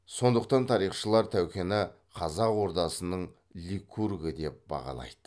сондықтан тарихшылар тәукені қазақ ордасының ликургі деп бағалайды